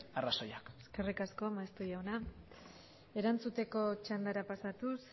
arrazoiak eskerrik asko maeztu jauna erantzuteko txandara pasatuz